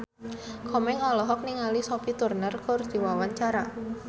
Komeng olohok ningali Sophie Turner keur diwawancara